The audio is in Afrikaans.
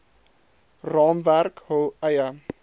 raamwerk hul eie